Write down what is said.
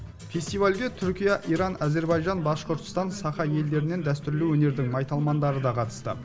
фестивальге түркия иран әзербайжан башқұртстан саха елдерінен дәстүрлі өнердің майталмандары да қатысты